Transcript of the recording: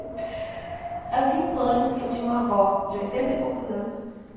Aí eu fiquei em pânico porque eu tinha uma avó de oitenta e poucos anos.